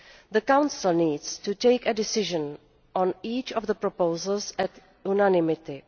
The Council needs to take a decision on each of the proposals in unanimity.